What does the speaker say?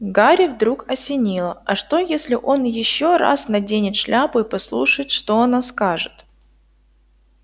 гарри вдруг осенило а что если он ещё раз наденет шляпу и послушает что она скажет